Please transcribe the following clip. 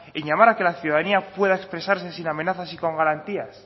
en llamar a que la ciudadanía pueda expresarse sin amenazas y con garantías